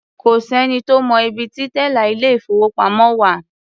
Kò sẹ́ni tó mọ ibi ti tẹ́là ilé-ìfowópamọ́ wà.